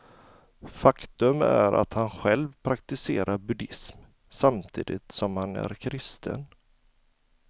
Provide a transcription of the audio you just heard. Faktum är att han själv praktiserar buddhism, samtidigt som han är kristen.